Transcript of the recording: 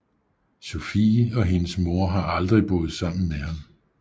Sofie og hendes mor har aldrig boet sammen med ham